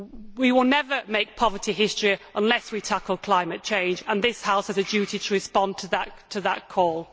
We will never make poverty history unless we tackle climate change, and this House has a duty to respond to that call.